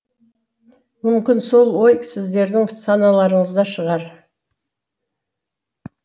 мүмкін сол ой сіздердің саналарыңызда шығар